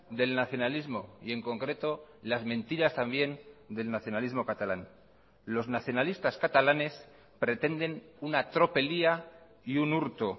del nacionalismo y en concreto las mentiras también del nacionalismo catalán los nacionalistas catalanes pretenden una tropelía y un hurto